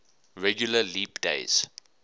regular leap days